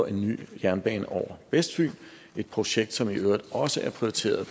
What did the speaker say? en ny jernbane over vestfyn et projekt som i øvrigt også er prioriteret